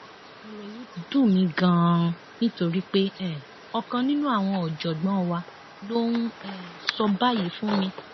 ọrọ yìí dùn mí ganan nítorí pé um ọkan nínú àwọn ọjọgbọn wa ló ń um sọ báyìí fún mi